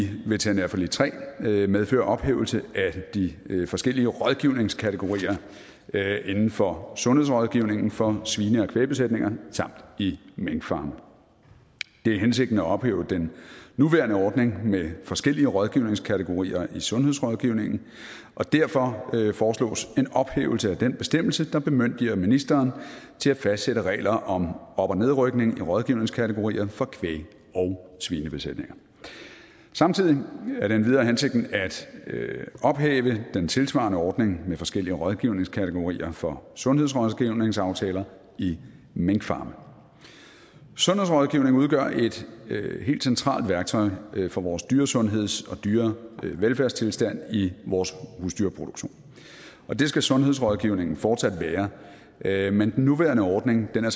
veterinærforlig iii medfører ophævelse af de forskellige rådgivningskategorier inden for sundhedsrådgivningen for svine og kvægbesætninger samt i minkfarme det er hensigten at ophæve den nuværende ordning med forskellige rådgivningskategorier i sundhedsrådgivningen og derfor foreslås en ophævelse af den bestemmelse der bemyndiger ministeren til at fastsætte regler om op og nedrykning i rådgivningskategorier for kvæg og svinebesætninger samtidig er det endvidere hensigten at ophæve den tilsvarende ordning med forskellige rådgivningskategorier for sundhedsrådgivningsaftaler i minkfarme sundhedsrådgivning udgør et helt centralt værktøj for vores dyresundheds og dyrevelfærdstilstand i vores husdyrproduktion og det skal sundhedsrådgivningen fortsat være men den nuværende ordning er